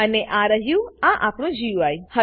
અને આ રહ્યુંઆપણું ગુઈ છે